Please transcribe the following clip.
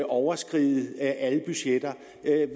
overskride alle budgetter